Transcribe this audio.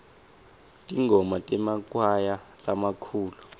tingoma temakwaya lamakhulu